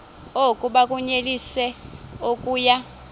oku bakunyelise okuya